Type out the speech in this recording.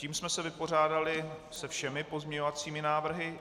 Tím jsme se vypořádali se všemi pozměňovacími návrhy.